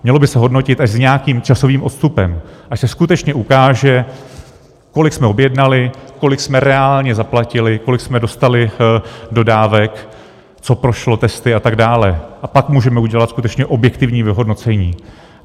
Mělo by se hodnotit až s nějakým časovým odstupem, až se skutečně ukáže, kolik jsme objednali, kolik jsme reálně zaplatili, kolik jsme dostali dodávek, co prošlo testy a tak dále, a pak můžeme udělat skutečně objektivní vyhodnocení.